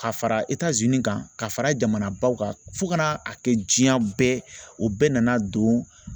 Ka fara kan ka fara jamanabaw kan fo ka n'a kɛ diɲɛ bɛɛ o bɛɛ nana don